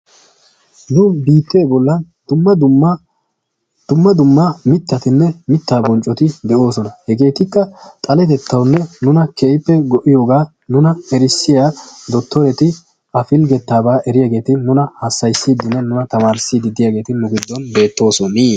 Nu biittee bollan dumma dumma mittatinne mittaa bonccoti de"oosona hegeetikka xaletettawunne nuna keehippe go"iyogaa erissiya dottoreti a pilggettaabaa eriyageeti nuna hassayissiiddinne tamaarissiiddi diyageeti nu giddon beettoosona.